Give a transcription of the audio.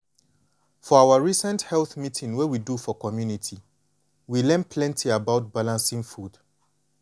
for our recent health meeting wey we do for community we learn plenty about balancing food.